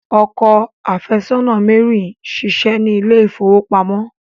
Ọkọ afesona Mary n ṣiṣé ni ilé ifowopamọ.